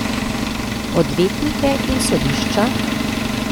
Odvetnike in sodišča?